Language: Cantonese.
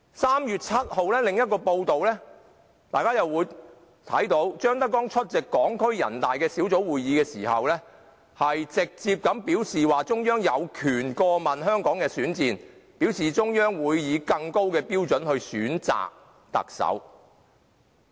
3月7日的另一份報道，張德江出席香港特別行政區全國人民代表大會代表小組會議的時候，直接表示中央有權過問香港特首選戰，而中央會以更高標準選擇特首。